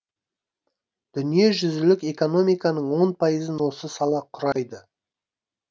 дүниежүзілік экономиканың он пайызын осы сала құрайды